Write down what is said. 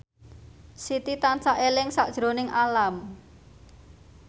Siti tansah eling sakjroning Alam